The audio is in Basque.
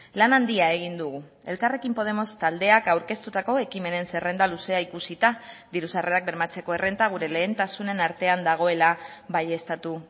lan handia egin dugu elkarrekin podemos taldeak aurkeztutako ekimenen zerrenda luzea ikusita diru sarrerak bermatzeko errenta gure lehentasunen artean dagoela baieztatu